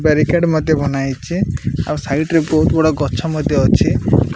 Barricade ମଧ୍ୟ ବନାହେଇଚେ ଆଉ ସାଇଡ଼ ରେ ବହୁତ୍ ବଡ଼ ଗଛ ମଧ୍ୟ ଅଛି।